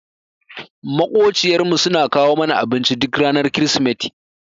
Maƙociyar mu suna kawo mana abinci duk ranar krismeti.